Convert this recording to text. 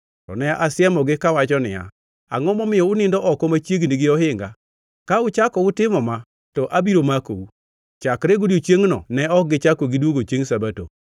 To ne asiemogi kawacho niya, “Angʼo momiyo unindo oko machiegni gi ohinga?” Ka uchako utimo ma, to abiro makou. Chakre godiechiengno ne ok gichako gidwogo chiengʼ Sabato.